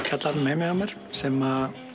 kjallaranum heima hjá mér sem